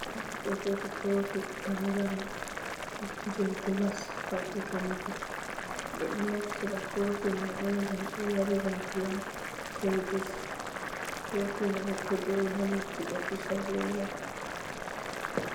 Gofdo do Jodi kofi tangaram, jei glas fadi ka mutu, bedo naftira kofi mai un gam be nyarira diyam Koh juice, Kofi Mai to do'e ha leddi do pusa be lau.